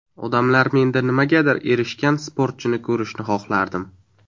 Odamlar menda nimagadir erishgan sportchini ko‘rishini xohlardim.